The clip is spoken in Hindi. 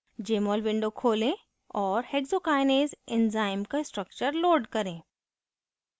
jmol window खोलें और hexokinase enzyme का structure load करें